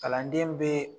Kalanden bɛ